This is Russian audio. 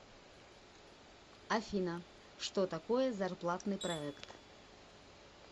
афина что такое зарплатный проект